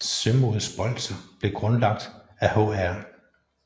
Sømods Bolcher blev grundlagt af Hr